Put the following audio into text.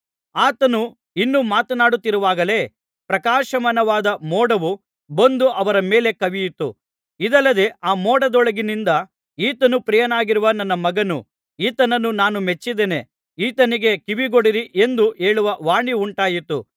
ಆತನು ಇನ್ನೂ ಮಾತನಾಡುತ್ತಿರುವಾಗಲೇ ಪ್ರಕಾಶಮಾನವಾದ ಮೋಡವು ಬಂದು ಅವರ ಮೇಲೆ ಕವಿಯಿತು ಇದಲ್ಲದೆ ಆ ಮೋಡದೊಳಗಿನಿಂದ ಈತನು ಪ್ರಿಯನಾಗಿರುವ ನನ್ನ ಮಗನು ಈತನನ್ನು ನಾನು ಮೆಚ್ಚಿದ್ದೇನೆ ಈತನಿಗೆ ಕಿವಿಗೊಡಿರಿ ಎಂದು ಹೇಳುವ ವಾಣಿವುಂಟಾಯಿತು